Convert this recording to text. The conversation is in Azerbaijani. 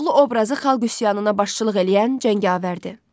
Koroğlu obrazı xalq üsyanına başçılıq eləyən cəngavərdir.